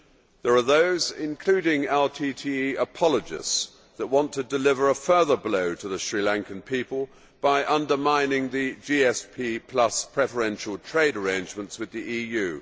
There are those, including LTTE apologists, who want to deliver a further blow to the Sri Lankan people by undermining the GSP preferential trade arrangements with the EU.